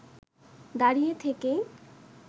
দাঁড়িয়ে থেকেই